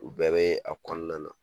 U bɛɛ bee a kɔɔna na.